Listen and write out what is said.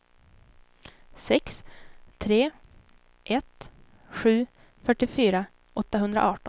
sex tre ett sju fyrtiofyra åttahundraarton